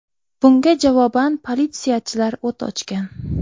Bunga javoban politsiyachilar o‘t ochgan.